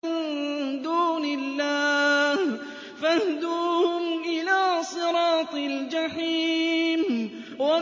مِن دُونِ اللَّهِ فَاهْدُوهُمْ إِلَىٰ صِرَاطِ الْجَحِيمِ